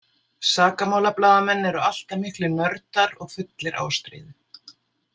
Sakamálablaðamenn eru alltaf miklir nördar og fullir ástríðu.